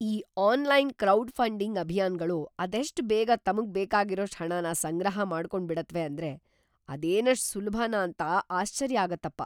ಈ online crowdfunding ಅಭಿಯಾನ್ಗಳು ಅದೆಷ್ಟ್‌ ಬೇಗ ತಮ್ಗ್‌ ಬೇಕಾಗಿರೋಷ್ಟ್‌ ಹಣನ ಸಂಗ್ರಹ ಮಾಡ್ಕೊಂಡ್ಬಿಡತ್ವೆ ಅಂದ್ರೆ ಅದೇನಷ್ಟ್‌ ಸುಲ್ಭನಾ ಅಂತ ಆಶ್ಚರ್ಯ ಆಗತ್ತಪ.